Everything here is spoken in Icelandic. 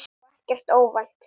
Og ekkert óvænt.